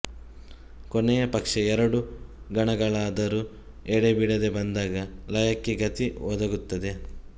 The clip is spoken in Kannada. ಕೊನೆಯ ಪಕ್ಷ ಎರಡು ಗಣಗಳಾದರೂ ಎಡೆಬಿಡದೆ ಬಂದಾಗ ಲಯಕ್ಕೆ ಗತಿ ಒದಗುತ್ತದೆ